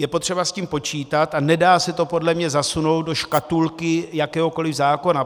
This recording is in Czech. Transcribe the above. Je potřeba s tím počítat a nedá se to podle mě zasunout do škatulky jakéhokoli zákona.